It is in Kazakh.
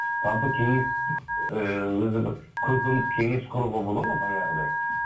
жалпы кеңес ііі өзі бір көркемдік кеңес құруға болады ма баяғыдай